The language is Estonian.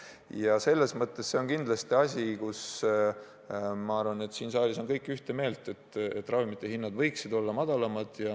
Ja selles on kindlasti siin saalis kõik ühte meelt: ravimite hinnad võiksid olla madalamad.